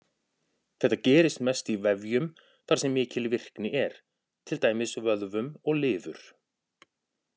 Þetta gerist mest í vefjum þar sem mikil virkni er, til dæmis vöðvum og lifur.